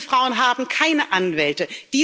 Diese Frauen haben keine Anwälte